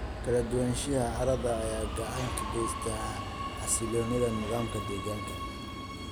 Kala duwanaanshiyaha carrada ayaa gacan ka geysta xasilloonida nidaamka deegaanka.